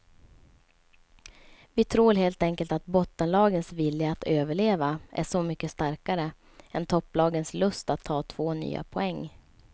Vi tror helt enkelt att bottenlagens vilja att överleva är så mycket starkare än topplagens lust att ta två nya poäng.